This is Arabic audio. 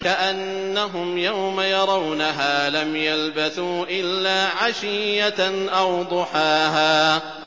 كَأَنَّهُمْ يَوْمَ يَرَوْنَهَا لَمْ يَلْبَثُوا إِلَّا عَشِيَّةً أَوْ ضُحَاهَا